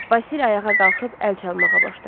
Vasil ayağa qalxıb əl çalmağa başladı.